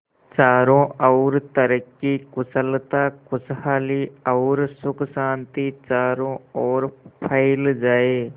चारों और तरक्की कुशलता खुशहाली और सुख शांति चारों ओर फैल जाए